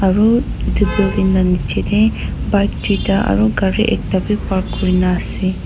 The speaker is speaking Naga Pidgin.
aru edu building lanichae tae bike tuita aro gari ekta bi park kurinaase.